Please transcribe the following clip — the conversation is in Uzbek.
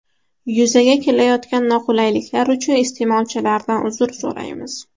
Yuzaga kelayotgan noqulayliklar uchun iste’molchilardan uzr so‘raymiz.